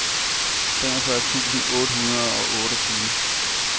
femogfyrre tusind otte hundrede og otteogtyve